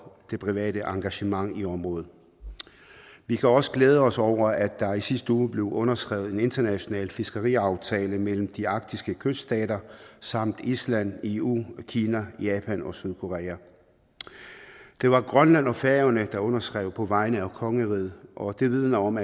det private engagement i området vi kan også glæde os over at der i sidste uge blev underskrevet en international fiskeriaftale mellem de arktiske kyststater samt island eu kina japan og sydkorea det var grønland og færøerne der underskrev på vegne af kongeriget og det vidner om